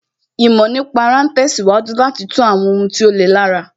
Ìmọ̀ nípa ara ń tẹ̀síwájú láti tú àwọn ohun tí ó le lára